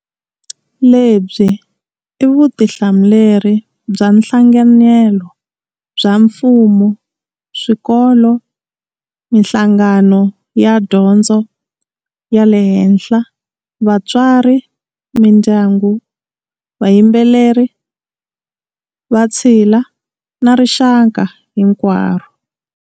Lebyi i vutihlamuleri bya nhlanganelo bya mfumo, swikolo, mihlangano ya dyondzo ya le henhla, vatswari, mindyangu, vayi mbeleri, vatshila, na rixaka hinkwaro.